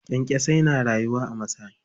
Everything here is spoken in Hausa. Kyankyasai na rayuwa a masai.